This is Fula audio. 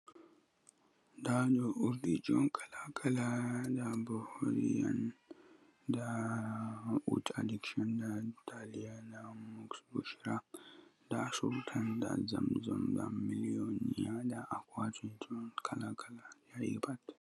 Da do urdiji un kala kala, dabo urdi addiction, dariya, musk busra, sultan, zamzan, aqua21, kala kala.